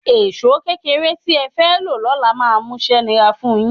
Èṣó kékeré tí ẹ fẹ́ lo lọ́la máa múṣẹ́ nira fun yín